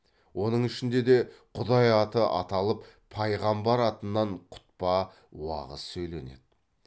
оның ішінде де құдай аты аталып пайғамбар атынан құтпа уағыз сөйленеді